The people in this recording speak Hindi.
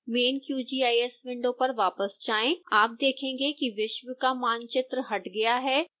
main qgis विंडो पर वापस जाएं आप देखेंगे कि विश्व का मानचित्र हट गया है